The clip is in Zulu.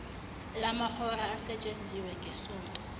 lamahora asetshenziwe ngesonto